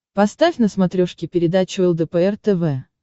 поставь на смотрешке передачу лдпр тв